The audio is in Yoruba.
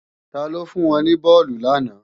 Taló fún wọn ní bọ́ọ̀lù làná